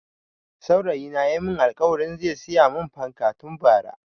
Saurayi na ya mun alkawarin zai siya mun fanka tun Bara